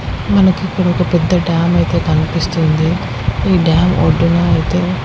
మనకి ఇక్కడొక పెద్ద డ్యామ్ అయితే కన్పిస్తుంది. ఈ డ్యామ్ ఒడ్డున అయితే.